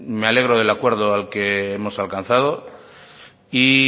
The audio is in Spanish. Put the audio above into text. me alegro del acuerdo que hemos alcanzado y